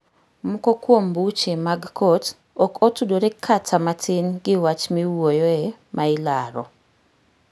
Moko kuom buche mag kot ok otudore kata matin gi wach miwuoyoe mailaro.